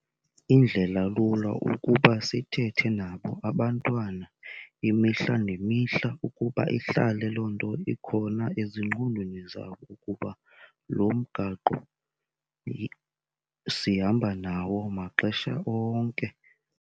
Indlela lula ukuba sithethe nabo abantwana imihla nemihla ukuba ihlale loo nto ikhona ezingqondweni zabo ukuba lo mgaqo sihamba nawo maxesha onke.